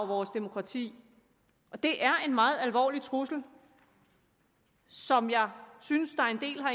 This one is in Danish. vores demokrati og det er en meget alvorlig trussel som jeg synes